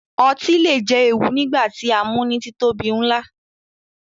Ọtí le jẹ ewu nigba ti a mu ni titobi nla